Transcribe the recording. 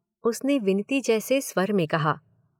उसने विनती जैसे स्वर में कहा।